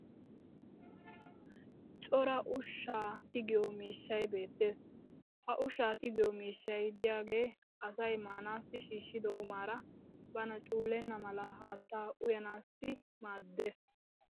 cora ushshaa tiggiyo miishshay beetees. ha ushshaa tiggiyo miishshay diyaagee asay maanaassi shiishido qumaara bana cuulenna mala haattaa uyanaassi maadees.